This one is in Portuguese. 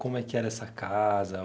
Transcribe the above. Como é que era essa casa?